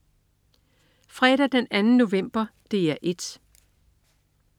Fredag den 2. november - DR 1: